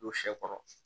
Don sɛ kɔrɔ